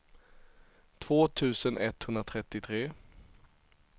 två tusen etthundratrettiotre